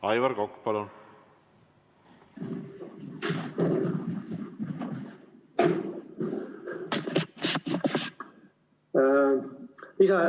Aivar Kokk, palun!